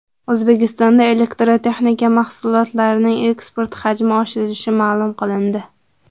O‘zbekistonda elektrotexnika mahsulotlarining eksporti hajmi oshirilishi ma’lum qilindi.